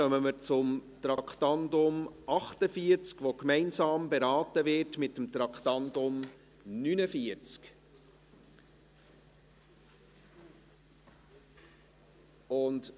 Damit kommen wir zum Traktandum 48, das gemeinsam mit dem Traktandum 49 beraten wird.